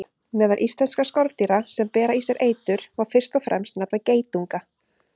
Meðal íslenskra skordýra sem bera í sér eitur má fyrst og fremst nefna geitunga.